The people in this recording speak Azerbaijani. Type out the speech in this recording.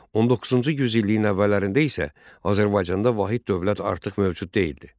19-cu yüz illiyin əvvəllərində isə Azərbaycanda vahid dövlət artıq mövcud deyildi.